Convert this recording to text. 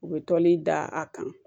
U bɛ toli da a kan